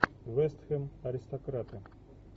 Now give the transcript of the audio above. вест хэм аристократы